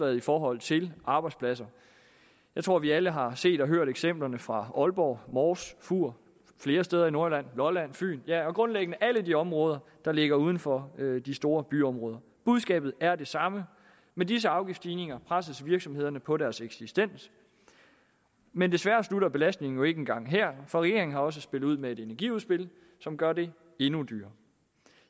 i forhold til arbejdspladser jeg tror vi alle har set og hørt eksemplerne fra aalborg mors fur og flere steder i nordjylland lolland fyn ja grundlæggende fra alle de områder der ligger uden for de store byområder budskabet er det samme med disse afgiftsstigninger presses virksomhederne på deres eksistens men desværre slutter belastningen jo ikke engang her for regeringen har også spillet ud med et energiudspil som gør det endnu dyrere